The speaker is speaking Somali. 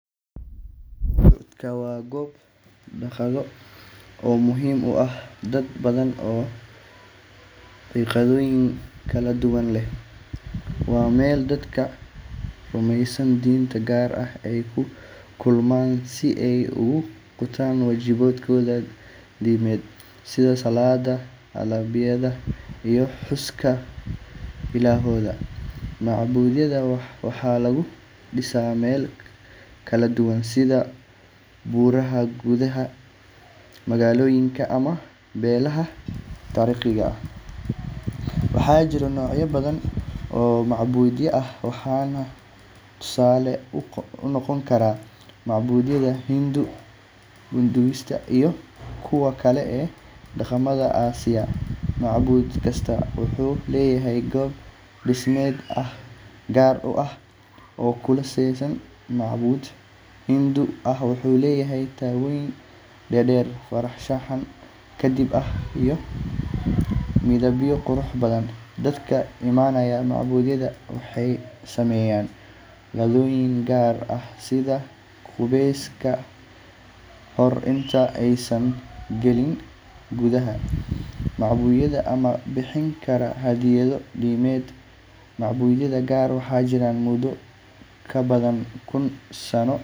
Macbudku waa goob cibaado oo muhiim u ah dad badan oo caqiidooyin kala duwan leh. Waa meel dadka rumeysan diin gaar ah ay ku kulmaan si ay u gutaan waajibaadkooda diimeed sida salaadda, allabaryada, iyo xuska ilaahooda. Macbudyada waxaa laga dhisaa meelo kala duwan sida buuraha, gudaha magaalooyinka, ama meelaha taariikhiga ah. Waxaa jira noocyo badan oo macbudyo ah, waxaana tusaale u noqon kara macbudyada Hindu, Buddhist, iyo kuwa kale ee dhaqamada Aasiya. Macbud kasta wuxuu leeyahay qaab dhismeed gaar ah oo ku saleysan dhaqanka iyo diinta uu matalo. Tusaale ahaan, macbud Hindu ah wuxuu leeyahay taallooyin dhaadheer, farshaxan qadiimi ah, iyo midabyo qurux badan. Dadka imanaya macbudyada waxay sameeyaan caadooyin gaar ah sida qubeys ka hor inta aysan galin gudaha macbudka ama bixinta hadiyado diimeed. Macbudyada qaar waxay jiraan muddo ka badan kun sano.